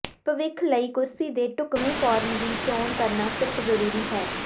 ਭਵਿੱਖ ਲਈ ਕੁਰਸੀ ਦੇ ਢੁਕਵੇਂ ਫਾਰਮ ਦੀ ਚੋਣ ਕਰਨਾ ਸਿਰਫ ਜਰੂਰੀ ਹੈ